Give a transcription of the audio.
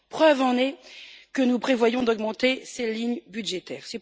Preuve en est que nous prévoyons d'augmenter ces lignes budgétaires.